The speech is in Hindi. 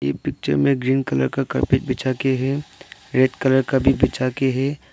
यह पिक्चर में ग्रीन कलर का कारपेट बिछा के है रेड कलर का भी बिछा के है।